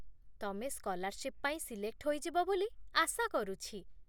ତମେ ସ୍କଲାର୍ସିପ ପାଇଁ ସିଲେକ୍ଟ ହୋଇଯିବ ବୋଲି ଆଶା କରୁଛି